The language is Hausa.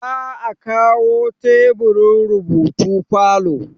za a kawo teburin rubutu falo